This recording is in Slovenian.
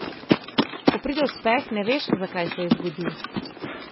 Ko pride uspeh, ne veš, zakaj se je zgodil.